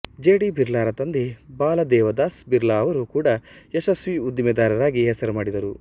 G D ಬಿರ್ಲಾರ ತಂದೆ ಬಾಲದೇವದಾಸ್ ಬಿರ್ಲಾ ಅವರು ಕೂಡಾ ಯಶಸ್ವೀ ಉದ್ದಿಮೆದಾರರಾಗಿ ಹೆಸರು ಮಾಡಿದರು